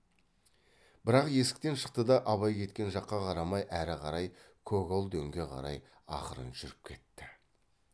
бірақ есіктен шықты да абай кеткен жаққа қарамай әрі қарай көгал дөңге қарай ақырын жүріп кетті